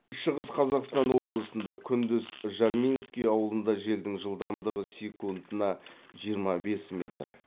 шығыс қазақстан облысында күндіз жарминский ауылында желдің жылдамдығы секундына жиырма бес метр